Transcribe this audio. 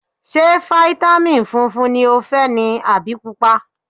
Ṣé fáítámìn funfun ni o fẹ́ ni àbí Pupa?